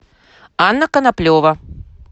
анна коноплева